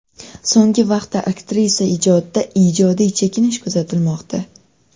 So‘nggi vaqtda aktrisa ijodida ijodiy chekinish kuzatilmoqda.